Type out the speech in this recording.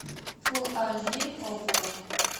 фулл аш ди окко